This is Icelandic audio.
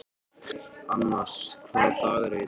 Annas, hvaða dagur er í dag?